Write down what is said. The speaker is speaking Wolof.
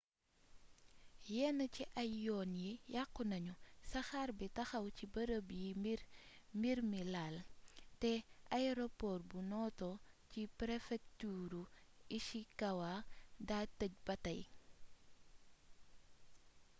yenn ci ay yoon yi yàqu nañu saxaar bi taxaw ci bërëb yi mbir mi laal té ayeropoor bu noto ci prefekturu ishikawa daa teej ba tay